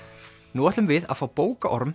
nú ætlum við að fá bókaorm